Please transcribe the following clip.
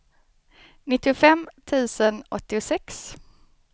nittiofem tusen åttiosex